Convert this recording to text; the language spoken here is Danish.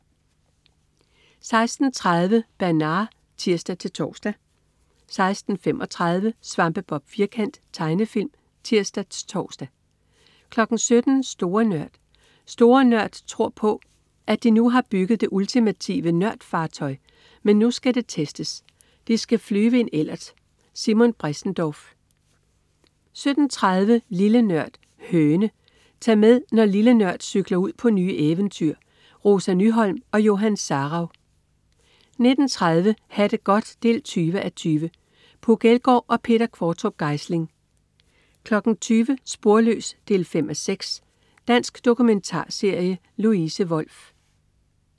16.30 Bernard (tirs-tors) 16.35 Svampebob Firkant. Tegnefilm (tirs-tors) 17.00 Store Nørd. "Store Nørd" tror på, at de nu har bygget det ultimative nørd-fartøj. Men nu skal det testes. De skal flyve i en Ellert!. Simon Bressendorf 17.30 Lille Nørd. Høne. Tag med, når "Lille Nørd" cykler ud på nye eventyr. Rosa Nyholm og Johan Sarauw 19.30 Ha' det godt 20:20. Puk Elgård og Peter Qvortrup Geisling 20.00 Sporløs 5:6. Dansk dokumentarserie. Louise Wolff